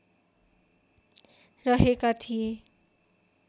रहेका थिए